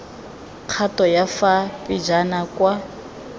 kgato ya fa pejana kwa